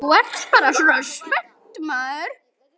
Þú ert bara svona spennt.